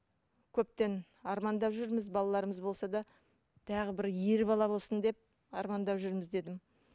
көптен армандап жүрміз балаларымыз болса да тағы бір ер бала болсын деп армандап жүрміз дедім